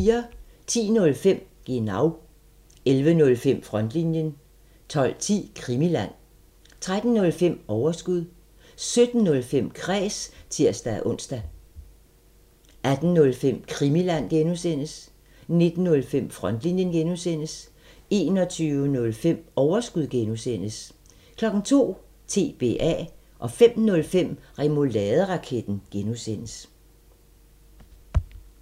10:05: Genau 11:05: Frontlinjen 12:10: Krimiland 13:05: Overskud 17:05: Kræs (tir-ons) 18:05: Krimiland (G) 19:05: Frontlinjen (G) 21:05: Overskud (G) 02:00: TBA 05:05: Remouladeraketten (G)